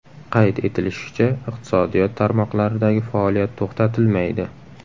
Qayd etilishicha, iqtisodiyot tarmoqlaridagi faoliyat to‘xtatilmaydi.